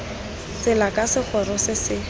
tsela ka segoro se se